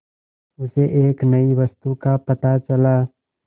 उसे एक नई वस्तु का पता चला